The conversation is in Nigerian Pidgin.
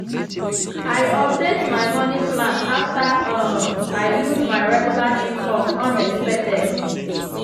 i update my money plan after um i lose my regular income unexpected.